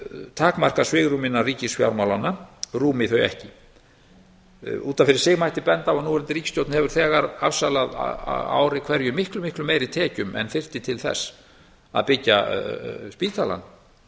takmarkað svigrúm innan ríkisfjármálanna rúmi þau ekki út af fyrir sig mætti benda á að núverandi ríkisstjórn hefur þegar afsalað á ári hverju miklu meiri tekjum en þyrfti til þess að byggja spítalann